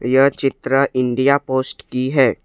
यह चित्र India Post की है।